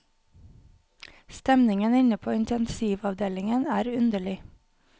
Stemningen inne på intensivavdelingen er underlig.